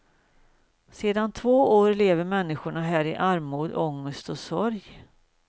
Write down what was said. Sedan två år lever människor här i armod, ångest och sorg.